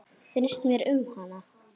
Finnst mér um hana?